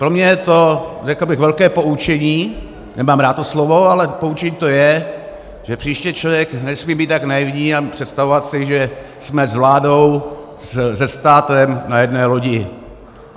Pro mě je to, řekl bych, velké poučení - nemám rád to slovo, ale poučení to je, že příště člověk nesmí být tak naivní a představovat si, že jsme s vládou, se státem na jedné lodi.